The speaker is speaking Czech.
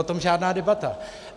O tom žádná debata.